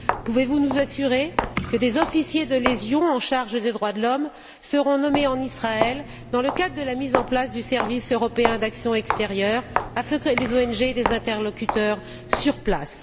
Pouvez vous nous assurer que des officiers de liaison en charge des droits de l'homme seront nommés en Israël dans le cadre de la mise en place du service européen d'action extérieure afin que les ONG aient des interlocuteurs sur place?